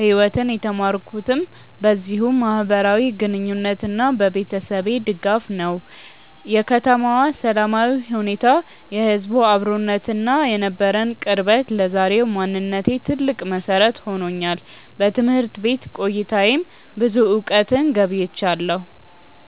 ህይወትን የተማርኩትም በዚሁ ማህበራዊ ግንኙነትና በቤተሰቤ ድጋፍ ነው። የከተማዋ ሰላማዊ ሁኔታ፣ የህዝቡ አብሮነትና የነበረን ቅርበት ለዛሬው ማንነቴ ትልቅ መሰረት ሆኖኛል። በትምህርት ቤት ቆይታዬም ብዙ እውቀትን ገብይቻለሁ።